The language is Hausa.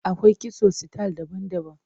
Akwai kitso sitayil daban-daban.